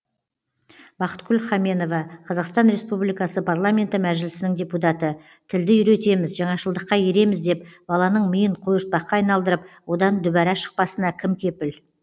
бақытгүл хаменова қазақстан республикасы парламенті мәжілісінің депутаты тілді үйретеміз жаңашылдыққа ереміз деп баланың миын қойыртпаққа айналдырып одан дүбәра шықпасына кім кепіл